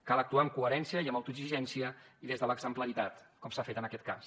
cal actuar amb coherència i amb autoexigència i des de l’exemplaritat com s’ha fet en aquest cas